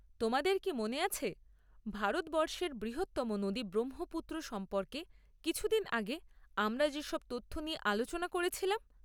তোমাদের কি মনে আছে ভারতবর্ষের বৃহত্তম নদী ব্রহ্মপুত্র সম্পর্কে কিছুদিন আগে আমরা যেসব তথ্য নিয়ে আলোচনা করেছিলাম?